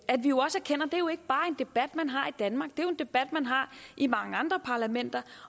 debat man har i danmark det er en debat man har i mange andre parlamenter